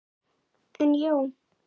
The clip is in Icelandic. En já.